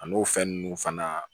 A n'o fɛn ninnu fana